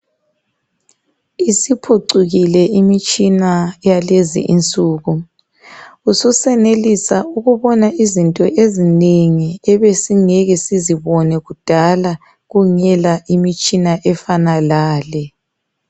Isiphucukile imitshina yalezi insuku, ususenelisa ukubona izinto ezinengi ebesingeke sizibone kudala kungela imitshina efana lale